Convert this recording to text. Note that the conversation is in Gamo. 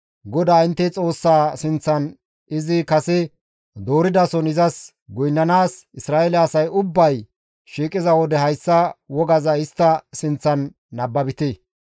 GODAA intte Xoossaa sinththan izi kase dooridason izas goynnanaas Isra7eele asay ubbay shiiqiza wode hayssa wogaza istta sinththan nababite.